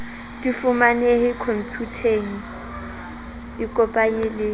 di fumanehe khomputeng ikopanye le